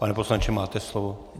Pane poslanče, máte slovo.